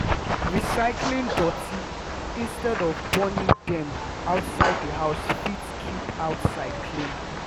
recycling doti instead of burning dem outside the house fit keep outside clean